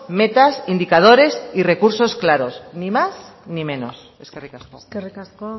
metas indicadores y recursos claros ni más ni menos eskerrik asko eskerrik asko